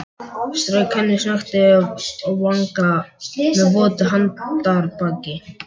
Strauk henni snöggt yfir vanga með votu handarbaki.